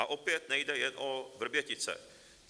A opět nejde jen o Vrbětice.